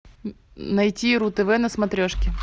найти ру тв на смотрешке